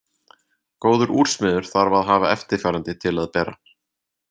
Góður úrsmiður þarf að hafa eftirfarandi til að bera.